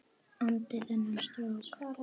andi þennan strák.